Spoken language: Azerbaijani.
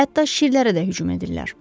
Hətta şirlərə də hücum edirlər.